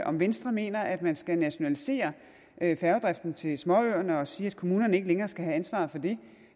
om venstre mener at man skal nationalisere færgedriften til småøerne og sige at kommunerne ikke længere skal have ansvaret for det